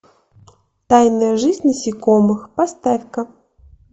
тайная жизнь насекомых поставь ка